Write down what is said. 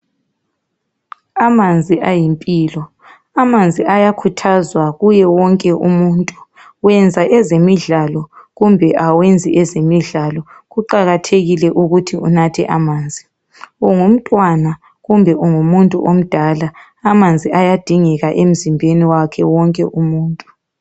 amanzi ayimpilo amanzi ayakhuthazwa kuye wonke umuntu wenza ezemidlalo kumbe awenzi ezemidlalo kuqakathekile ukuthi unathe amanzi ungumntwana kumbe ungu muntu omdala amanzi ayadingeka emzimbeni wakhe wonke umuntu